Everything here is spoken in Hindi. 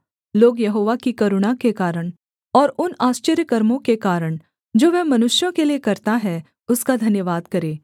लोग यहोवा की करुणा के कारण और उन आश्चर्यकर्मों के कारण जो वह मनुष्यों के लिये करता है उसका धन्यवाद करें